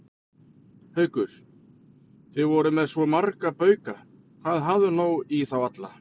Haukur: Þið voruð með svo marga bauka, hafði hann nóg í þá alla?